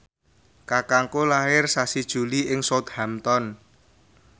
kakangku lair sasi Juli ing Southampton